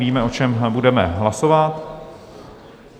Víme, o čem budeme hlasovat.